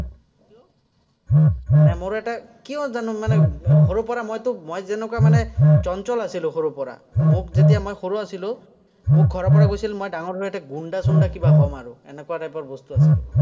মানে মোৰ এটা, কিয় জানো মানে সৰুৰপৰা মইতো মই যেনেকুৱা মানে চঞ্চল আছিলো সৰুৰপৰা। মোক যেতিয়া মই সৰু আছিলো, মোক ঘৰৰপৰা কৈছিল মই ডাঙৰহৈ গুণ্ডা-চুণ্ডা কিবা এটা হ'ম আৰু, এনেকুৱা type ৰ বস্তু আছিলো।